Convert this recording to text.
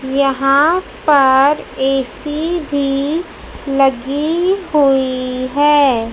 यहां पर ए_सी भी लगी हुईं हैं।